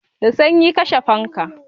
Da sanyi, kashe fankan!